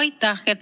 Aitäh!